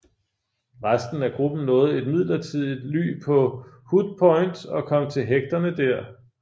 Resten af gruppen nåede et midlertidigt ly på Hut Point og kom til hægterne der